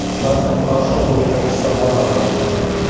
у нас он прошёл уже как часа два назад